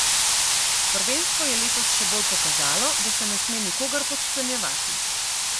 Prvenstvo je letos še bolj pokazalo, da se ne sme nikogar podcenjevati.